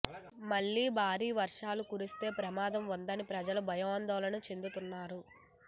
మళ్లీ భారీ వర్షాలు కురిస్తే ప్రమాదం ఉందని ప్రజలు భయాందోళన చెందుతున్నారు